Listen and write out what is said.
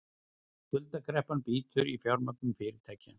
Skuldakreppan bítur í fjármögnun fyrirtækja